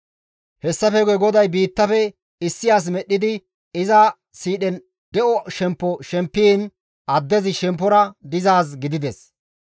Hessafe guye GODAY biittafe issi as medhdhidi iza siidhen de7o shemppo punnin addezi shemppora dizaade gidides.